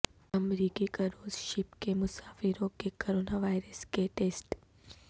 امریکی کروزشپ کے مسافروں کے کرونا وائرس کے ٹیسٹ